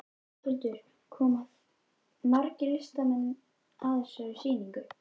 Höskuldur, koma margir listamenn að þessari sýningu?